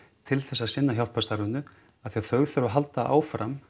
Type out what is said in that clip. til að sinna hjálparstarfinu af því að þau þurfa að halda áfram